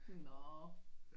Nå